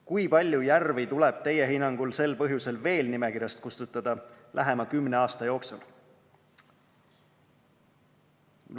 Kui palju järvi tuleb teie hinnangul sel põhjusel veel nimekirjast kustutada lähema kümne aasta jooksul?